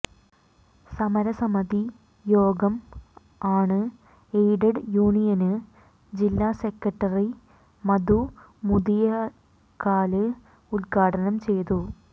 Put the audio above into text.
സമരസമിതി യോഗം unaided യൂണിയന് ജില്ലാസെക്രട്ടറി മധു മുതിയക്കാല് ഉദ്ഘാടനം ചെയ്തു